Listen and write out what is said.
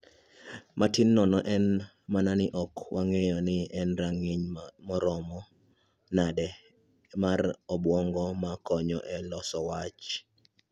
Matin nono en mana ni ok wang`eyo ni en rang`iny maromo nade mar obwongo ma konyo e loso wach.